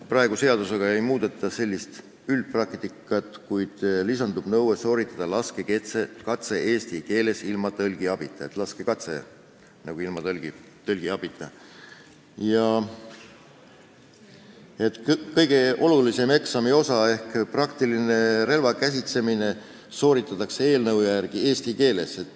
Praegu ei muudeta üldpraktikat, kuid lisandub nõue sooritada laskekatse eesti keeles ilma tõlgi abita, kõige olulisem eksami osa ehk praktiline relvakäsitsemine toimub eelnõu järgi eesti keeles.